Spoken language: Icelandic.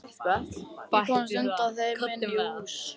Ég komst undan þeim og inn í hús.